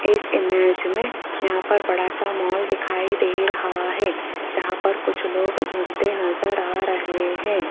इस इमेज में यहां पर बड़ा सा मॉल दिखाई दे रहा है जहां पर कुछ लोग घूमते नजर आ रहे हैं।